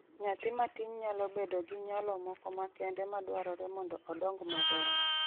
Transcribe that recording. Nyathi matin nyalo bedo gi nyalo moko makende madwarore mondo odong maber.